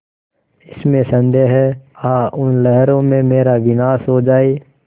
इसमें संदेह है आह उन लहरों में मेरा विनाश हो जाए